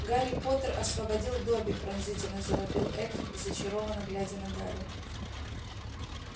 гарри поттер освободил добби пронзительно завопил эльф зачарованно глядя на гарри